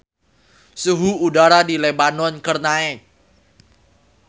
Suhu udara di Lebanon keur naek